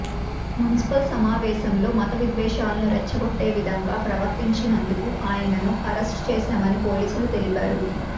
municipal సమావేశంలో మతవిద్వేషాలను రెచ్చగొట్టే విధంగా ప్రవర్తించినందుకు ఆయనను అరెస్టు చేశామని పోలీసులు తెలిపారు